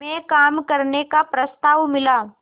में काम करने का प्रस्ताव मिला